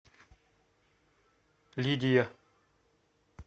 лидия